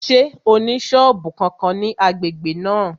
Ṣé ó ní sọ́ọ̀bù kankan ní agbègbè náà?